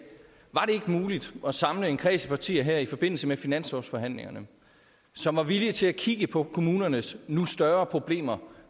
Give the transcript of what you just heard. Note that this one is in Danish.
muligt at samle en kreds af partier i forbindelse med finanslovsforhandlingerne som er villige til at kigge på kommunernes nu større problemer